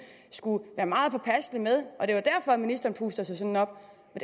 skulle være meget påpasselig med og at det var derfor ministeren puster sig sådan op